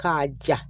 K'a ja